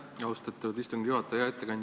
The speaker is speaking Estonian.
Aitäh, austatud istungi juhataja!